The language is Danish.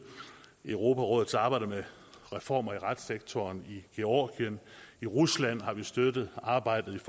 europarådets arbejde med reformer i retssektoren i georgien i rusland har vi støttet arbejdet